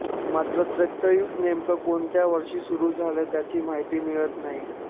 मात्र त्रेतायुग नेमक्या कोणत्या वर्षी सुरू झाले त्याची माहिती मिळत नाही